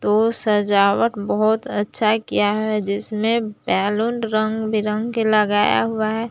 वो सजावट बहुत अच्छा किया है जिसमें बैलून रंग बिरंग के लगाया हुआ है।